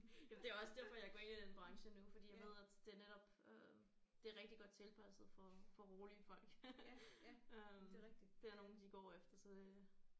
Ja det er også derfor jeg går ind i den branche nu fordi jeg ved at det netop øh det er rigtig godt tilpasset for for rolige folk øh det er nogen de går efter så det